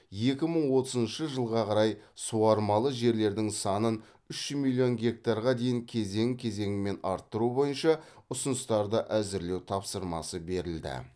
екі мың отызыншы жылға қарай суармалы жерлердің санын үш миллион гектарға дейін кезең кезеңмен арттыру бойынша ұсыныстарды әзірлеу тапсырмасы берілді